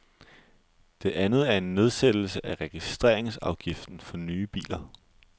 Det andet er en nedsættelse af registreringsafgiften for nye biler.